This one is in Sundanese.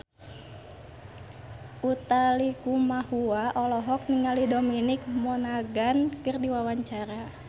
Utha Likumahua olohok ningali Dominic Monaghan keur diwawancara